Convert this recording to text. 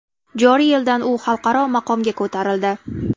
Joriy yildan u xalqaro maqomga ko‘tarildi.